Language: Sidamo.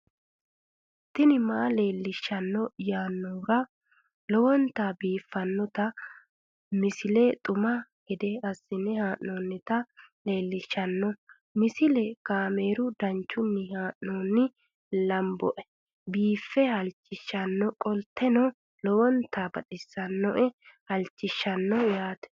tini maa leelishshanno yaannohura lowonta biiffanota misile xuma gede assine haa'noonnita leellishshanno misileeti kaameru danchunni haa'noonni lamboe biiffe leeeltannoqolten lowonta baxissannoe halchishshanno yaate